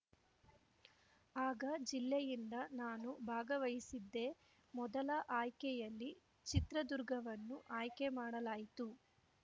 ಆಗ ಜಿಲ್ಲೆಯಿಂದ ನಾನು ಭಾಗವಹಿಸಿದ್ದೆ ಮೊದಲ ಆಯ್ಕೆಯಲ್ಲಿ ಚಿತ್ರದುರ್ಗವನ್ನು ಆಯ್ಕೆಮಾಡಲಾಯಿತು